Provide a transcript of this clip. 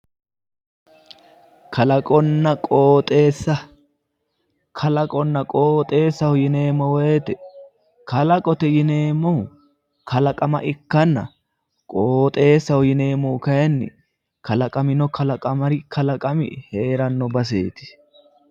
Kalaqonna qooxeessa, kalaqohonna qooxeessaho yineemmo woyte kalaqote yineemmohu kalaqama ikkanna, qooxeessaho yineemmohu kalaqamino kalaqami hee'ranno baseeti.